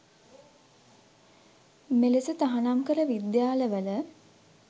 මෙලෙස තහනම් කළ විද්‍යාල වල